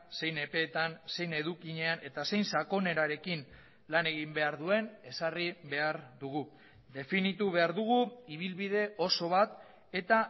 zein epeetan zein edukinean eta zein sakonerarekin lan egin behar duen ezarri behar dugu definitu behar dugu ibilbide oso bat eta